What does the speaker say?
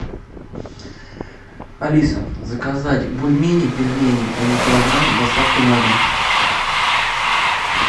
алиса заказать бульмени пельмени один килограмм с доставкой на дом